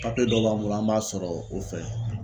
Papiye dɔ b'an bolo an b'a sɔrɔ o fɛ